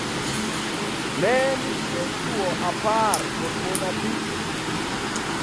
Ne nitie chwo 10 kod mon 5.